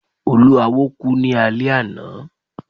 Olúawo ku ni alẹ ana